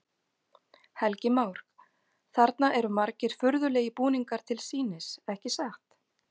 Helgi Már: Þarna eru margir furðulegir búningar til sýnis, ekki satt?